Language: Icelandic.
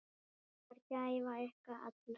Það var gæfa ykkar beggja.